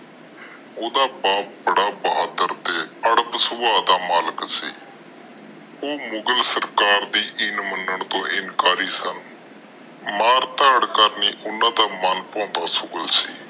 ਓਹਦਾ ਬਾਪ ਬੜਾ ਬਹਾਦਰ ਤੇ ਅੜਪ ਸੁਬਾਵ ਦਾ ਮਲਿਕ ਸੀ। ਉਹ ਮੁਗਲ ਸਰਕਾਰ ਦੇ ਇਨ ਮਨਣ ਤੋਂ ਇਨਕਾਰੀ ਸਨ। ਮਾਰ ਤਾੜ ਕਰਨੀ ਓਹਨਾ ਦਾ ਮਨ ਪਹੋੰਦਾ ਸ਼ੁਗਲ ਸੀ।